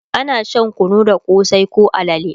ana Shan kunu da kosai koh alale